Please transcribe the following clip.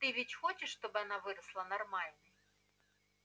ты ведь хочешь чтобы она выросла нормальной